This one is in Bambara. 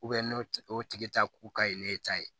n'o tigi ta ko ka ɲi ne ta ye